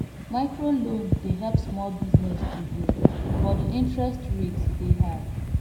microloan dey help small business to grow but di interest rate dey high